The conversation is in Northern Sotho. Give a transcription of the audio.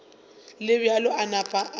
le bjalo a napa a